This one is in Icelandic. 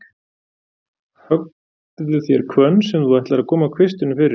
Höggðu þér hvönn, sem þú ætlar að þú komir kvistinum fyrir í.